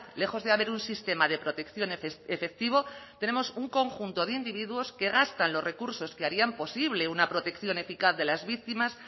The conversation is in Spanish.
lejos de haber un sistema de protección efectivo tenemos un conjunto de individuos que gastan los recursos que harían posible una protección eficaz de las víctimas